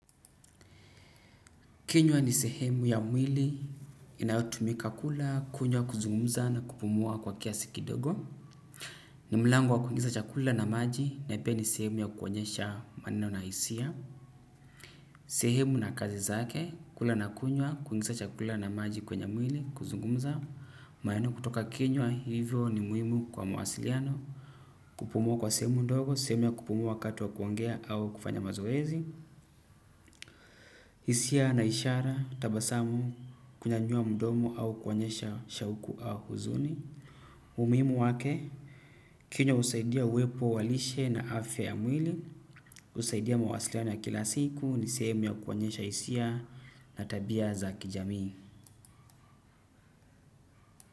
Kinywa ni sehemu ya mwili, inayotumika kula, kunywa, kuzungumza na kupumua kwa kiasi kidogo. Ni mlango wa kuingiza chakula na maji, na pia ni sehemu ya kuonyesha maneno na hisia. Sehemu na kazi zake, kula na kunywa, kuingiza chakula na maji kwenye mwili, kuzungumza, maneno kutoka kinywa, hivyo ni muhimu kwa mawasiliano. Kupumua kwa sehemu ndogo, sehemu ya kupumua wakati wa kuongea au kufanya mazoezi. Hisia na ishara tabasamu kunyanyua mdomo au kuonyesha shauku au huzuni. Umuhimu wake, kinywa husaidia uwepo wa lishe na afya ya mwili jusaidia mawasiliano ya kila siku ni sehemu ya kuonyesha hisia na tabia za kijamii.